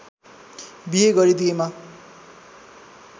बिहे गरिदिएमा